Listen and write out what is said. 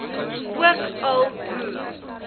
ook al hoe